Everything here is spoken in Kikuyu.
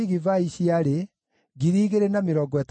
na andũ a Azimavethu maarĩ 42,